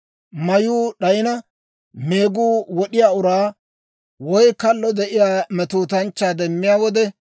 Mayuu d'ayina, meeguu wod'iyaa uraa, woy kallo de'iyaa metootanchchaa demmiyaa wode,